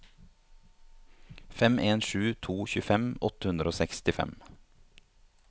fem en sju to tjuefem åtte hundre og sekstifem